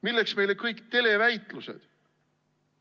Milleks meile kõik televäitlused?